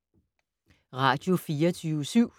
Radio24syv